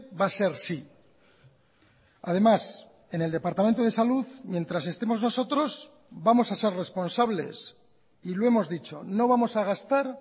va a ser sí además en el departamento de salud mientras estemos nosotros vamos a ser responsables y lo hemos dicho no vamos a gastar